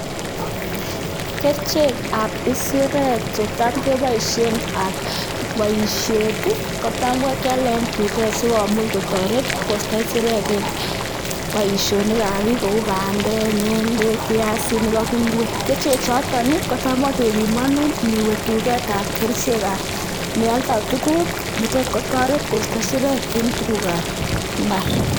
Kerichekab isirek chetam kepoishe ak boisiet kotam keale eng duket sikomuch kotoret koisto isirek eng boisionikab biik kou bandek, ngendek, piasinik ak ingwek. Kerichechoton kotam kepimanun ngiwe duketab kerichekab nealdai tuguk, kotoret koisto isirek eng tugukab imbaar.